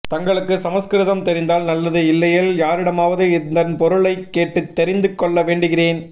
தங்களுக்கு சமஸ்கிருதம் தெரிந்தால் நல்லது இல்லையேல் யாரிடமாவது இதன்பொருளைக் கேட்டுத் தெரிந்து கொள்ளவேண்டுகிறேன்